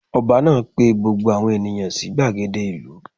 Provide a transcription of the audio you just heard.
Ọba náà pe gbogbo àwọn ènìyàn sí gbàgede ìlú